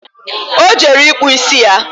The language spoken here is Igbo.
O jere ịkpụ ịsị ya